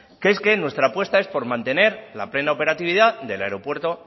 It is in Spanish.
que es que nuestra apuesta es por mantener la plena operatividad del aeropuerto